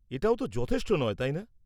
-এটাও তো যথেষ্ট নয় তাই না।